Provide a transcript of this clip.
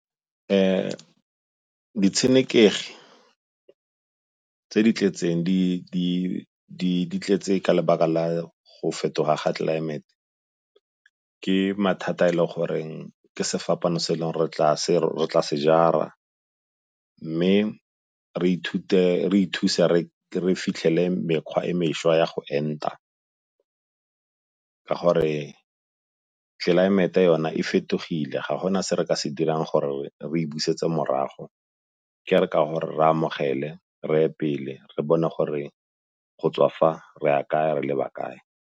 Ditshenekegi tse di tletseng di tletse ka lebaka la go fetoga ga tlelaemete ke mathata e le goreng ke sefapano se e le goreng re tla se jara. Mme re ithuse re fitlhele mekgwa e mešwa ya go enta ka gore tlelaemete yona e fetogile ga gona se re ka se dirang gore re busetse morago, ke re ka gore re amogele, reye pele, re bone gore go tswa fa re ya kae re leba kae.